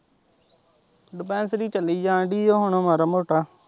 Dispensary ਚੱਲੀ ਜਾਣ ਦੀ ਹੁਣ ਮਾੜਾ ਮੋਟਾ।